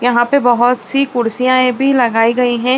यहाँ पे बहोत सी कुर्सियाए भी लगाई गई हैं।